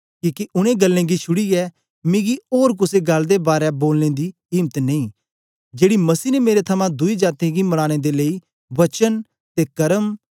किके उनै गल्लें गी छुड़ीयै मिगी ओर कुसे गल्ल दे बारै बोलने दी इम्त नेई जेड़ी मसीह ने मेरे थमां दुई जातीयें गी मनानें दे लेई वचन ते कर्म